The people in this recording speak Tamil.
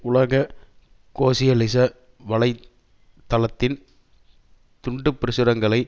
உலக கோசியலிச வலை தளத்தின் துண்டு பிரசுரங்களை